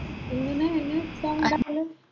എങ്ങനെ എങ്ങനെ എക്സാമിന്റെ കാര്യം?